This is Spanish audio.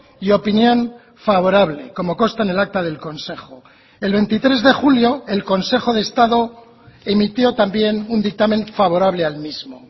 y opinión favorable como consta en el acta del consejo el veintitrés de julio el consejo de estado emitió también un dictamen favorable al mismo